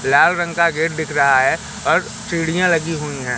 लाल रंग का गेट दिख रहा है और सीढियां लगी हुई है।